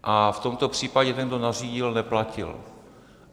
A v tomto případě ten, kdo nařídil, neplatil.